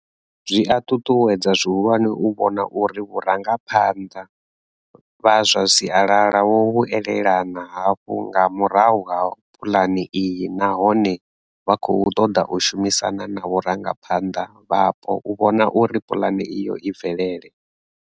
Zwi a ṱuṱuwedza zwihulwane u vhona uri vhurangaphanḓa vha zwa sialala vho vhu elelana hafhu nga murahu ha puḽane iyi nahone vha khou ṱoḓa u shumisana na vharangaphanḓa vhapo u vhona uri pulane iyo i bvelele.